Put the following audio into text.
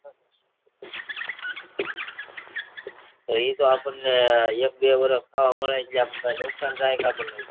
એ તો આપણને એક બે વર્ષ ખાવા મળે કે નુકસાન જાય